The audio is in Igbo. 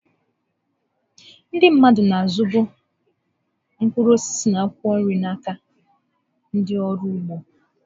Ndị mmadụ na-azụbu mkpụrụ osisi na akwụkwọ nri n'aka ndị ọrụ ugbo.